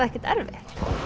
ekkert erfitt